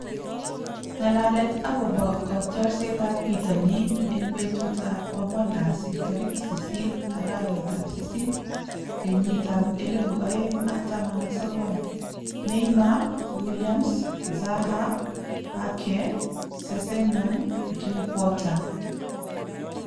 Ng'alalet akobo kotiorsetab bitonin eng betutab kwang'wan kasi tarik sisit , arawetab sisit, kenyitab elebu oeng ak taman ak sokol:Neymar, Williams, Zaha, Ake, Sessegnon, Drinkwater